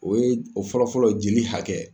O ye , o fɔlɔ fɔlɔ jeli hakɛ.